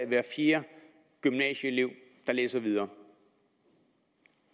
hver fjerde gymnasieelev der læser videre